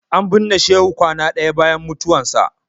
An binne Shehu kwana ɗaya bayan mutuwarsa.